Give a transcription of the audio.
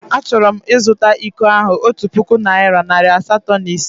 Achọrọ m ịzụta iko ahụ otu puku naịra nari asatọ na ise.